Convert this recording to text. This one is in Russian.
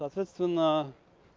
соответственно